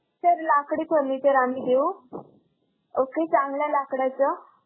Sir लाकडी furniture आम्ही देऊ. okay चांगल्या लाकडाचं.